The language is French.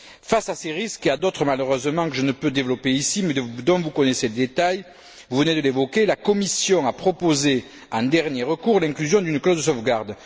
Face à ces risques, et à d'autres, malheureusement, que je ne peux développer ici mais dont vous connaissez le détail vous venez de l'évoquer la Commission a proposé un dernier recours, l'inclusion d'une clause de sauvegarde.